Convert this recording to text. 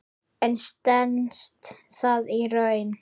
En stenst það í raun?